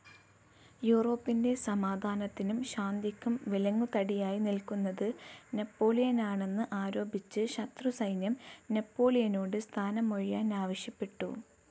യൂറോപ്പിൻ്റെ സമാധാനത്തിനും ശാന്തിക്കും വിലങ്ങുതടിയായി നിൽക്കുന്നത് നെപ്പോളിയനാണെന്ന് ആരോപിച്ച് ശത്രുസൈന്യം നെപ്പോളിയനോട് സ്ഥാനമൊഴിയാൻ ആവശ്യപ്പെട്ടു.